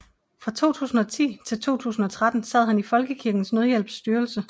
Fra 2010 til 2013 sad han i Folkekirkens Nødhjælps styrelse